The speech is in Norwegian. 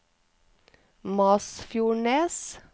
Masfjordnes